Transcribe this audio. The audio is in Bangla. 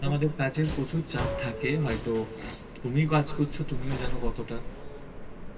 আমাদের কাজের প্রচুর চাপ থাকে হয়তো তুমি কাজ করছ তুমিও জানো কতটা